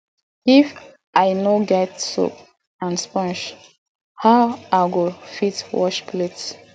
if i no get soap and sponge how i go fit wash plate